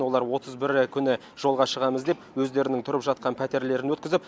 олар отыз бірі күні жолға шығамыз деп өздерінің тұрып жатқан пәтерлерін өткізіп